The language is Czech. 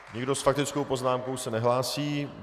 Nikdo s faktickou poznámkou se nehlásí.